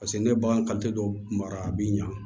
Paseke ne bagan dɔ mara a bi ɲa